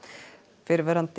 fyrrverandi